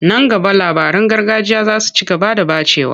Nan gaba labaran gargajiya za su ci gaba da ɓacewa.